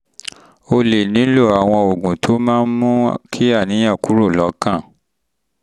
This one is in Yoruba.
o lè um nílò àwọn um oògùn tó um oògùn tó máa ń mú kí àníyàn kúrò lọ́kàn